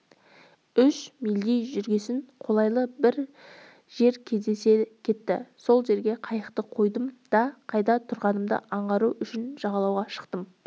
үш мильдей жүргесін қолайлы бір жер кездесе кетті сол жерге қайықты қойдым да қайда тұрғанымды аңғару үшін жағалауға шықтым